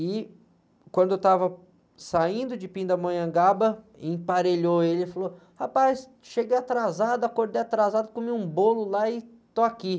E quando eu estava saindo de Pindamonhangaba, emparelhou ele e falou, rapaz, cheguei atrasado, acordei atrasado, comi um bolo lá e estou aqui.